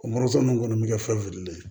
O moto nunnu kɔni bi kɛ fɛn fililen ye